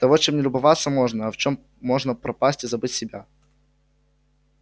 того чем не любоваться можно а в чем можно пропасть и забыть себя